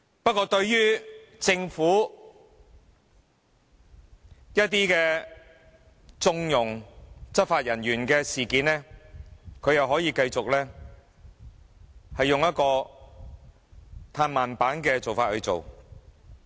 不過對於政府縱容執法人員的一些事件，他又可以繼續用"嘆慢板"的方式處理。